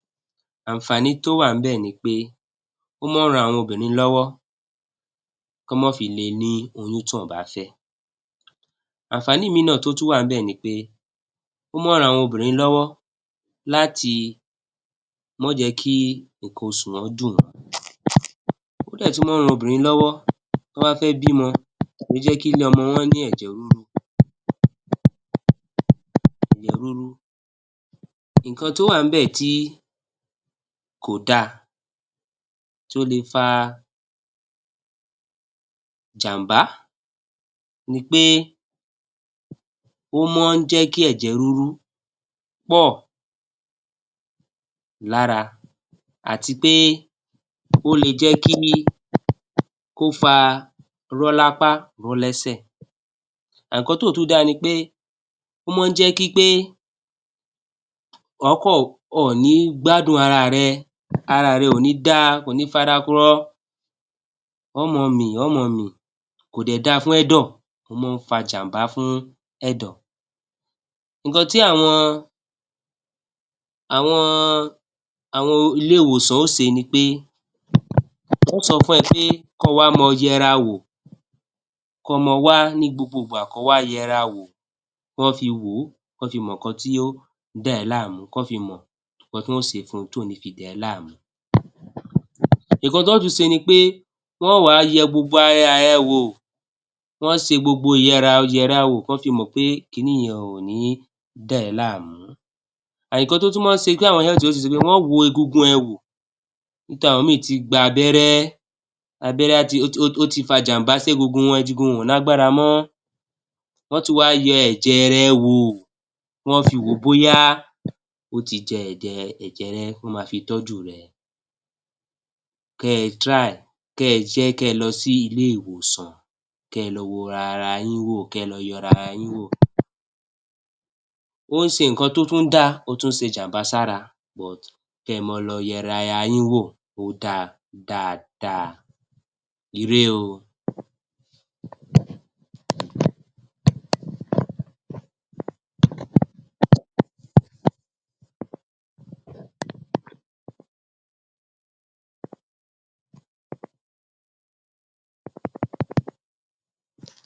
Ànfààní tó wà níbẹ̀ ni pé ó máa ń ran àwọn obìnrin lọ́wọ́ kán mọ́ fi le ní oyún tí wọn ò bá fẹ́. Ànfààní míi tó tún wà ńbẹ̀ ni pé ó mọn ń ran àwọn lọ́wọ́ láti mọ́n jẹ́ kí nǹkan oṣù wọn dùn wọ́n. Ó dẹ̀ tún mọ́n ń ran obinrìn lọ́wọ́ tí wọ́n bá fẹ́ bímọ, kò í jẹ́ kílé ọmọ wọn ní ẹ̀jẹ̀ rúru, ẹ̀jẹ̀ rúru. Nǹkan tó wà ńbẹ̀ tí kò dáa tó le fa jàmbá ni pé ó mọ́n n jẹ́ kí ẹ̀jẹ̀ rúru pọ̀ lára àti pé ó le jẹ́ kí, kó fa rọ́ lápá, rọ́ lẹ́sẹ̀. Nǹkan tí ò tún dáa ni pé ó mọ́n n jẹ́ kí pé ọ ọ̀ ní gbádùn ara rẹ, ara rẹ ò ní dá, kò ní fara rọ. Ọ̀ ọ́ mọ́n ọn mì, ọ̀ ọ́ mọ́n ọn mì, kò dẹ̀ dáa fún ẹ̀dọ̀. Ó mọ́n ń fa jàmbá fún ẹ̀dọ̀. Nǹkan tí àwọn, àwọn, àwọn ilé ìwòsàn ó se ni pé wọ́n ó sọ fún ẹ pé kọ́ ọ wá mọ́ọ yẹra wò, kọ́ ọ mọ́ ọ wá ní gbogbo ìgbà, kọ́ọ wá yẹra wò, kọ́ fi wò ó, kọ́ fi mọ ǹkan tí ó dà ẹ́ láàmú, kọ́ fi mọ̀ nǹkan tí wọ́n ó se fún un tí ò fi ní dà ẹ́ láàmú. Nǹkan tọ́ọ́ tún se ni pé wọ́n wá yẹ gbogbo ara rẹ wò, wọ́n ó se gbogbo ìyẹrawò kó fi mọ̀ pé kiní yẹ ò ní da ẹ́ láàmú. Nǹkan tó tún mọ́n ń se tí se ni pé wọ́n ó wo egungun ẹ wò. Ibi tí àwọn míì ti gba abẹ́rẹ́, abẹ́rẹ́ ó ti fa jàmbá ségungun wọn, egungun wọn ò lágbára mọ́, wọ́n ó tún wá yẹ ẹ̀jẹ̀ rẹ wò, ,wẹ́n ó fi wòó bóyá ó ti jẹ ẹ̀jẹ̀ rẹ, ó máa fi tẹ́jú rẹ. Kẹ́ ẹ try, kẹ́ ẹ jẹ́ kẹ́ ẹ lọ sí ilé ìwòsàn kẹ́ ẹ lọ wo ara yín wò, kẹ́ ẹ lọ yẹ ara yín wò. Ó ṣe nǹkan tó tún dáa, ó tún ń ṣe jàmbá sára but kẹ́ ẹ mọ́ ọ lọ yẹ ara yín wò, ó dáa, ó dáa dáadáa. Ire o.